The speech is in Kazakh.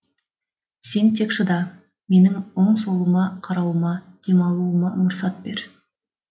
сен тек шыда менің оң солыма қарауыма демалуыма мұрсат бер